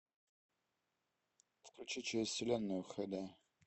включи через вселенную хд